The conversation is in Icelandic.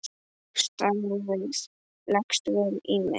Starfið leggst vel í mig.